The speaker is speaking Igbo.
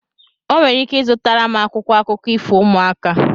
O nwere ike zụtara m akwụkwọ akụkọ ifo ụmụaka